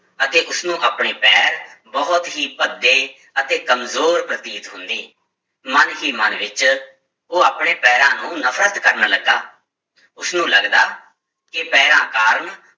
ਅਤੇ ਉਸਨੂੰ ਆਪਣੇ ਪੈਰ ਬਹੁਤ ਹੀ ਭੱਦੇ ਅਤੇ ਕੰਮਜ਼ੋਰ ਪ੍ਰਤੀਤ ਹੁੰਦੇ, ਮਨ ਹੀ ਮਨ ਵਿੱਚ ਉਹ ਆਪਣੇ ਪੈਰਾਂ ਨੂੰ ਨਫ਼ਰਤ ਕਰਨ ਲੱਗਾ, ਉਸਨੂੰ ਲੱਗਦਾ ਕਿ ਪੈਰਾਂ ਕਾਰਨ